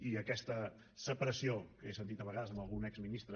i aquesta separació que he sentit a vegades d’algun exministre